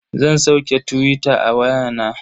Zan sauke tuwita a waya na.